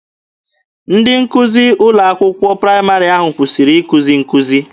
Ndị nkụzi n'ụlọ akwụkwọ praịmarị ahụ kwụsịrị ikuzi nkuzi.